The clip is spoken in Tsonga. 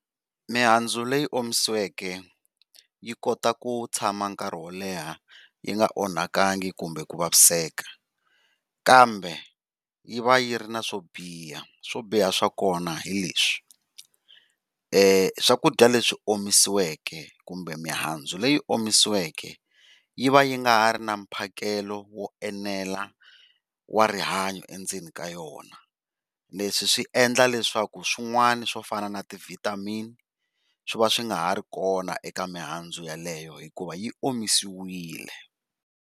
Mihandzu leyi omisiweke yi kota ku tshama nkarhi wo leha yi nga onhakangi kumbe ku vaviseka, kambe yi va yi ri na swo biha swo biha swa kona hi leswi swakudya leswi omisiweke kumbe mihandzu leyi omisiweke yi va yi nga ha ri na mphakelo wo enela wa rihanyo endzeni ka yona. Leswi swi endla leswaku swin'wana swo fana na ti vitamin swi va swi nga ha ri kona eka mihandzu yaleyo hikuva yi omisiwile.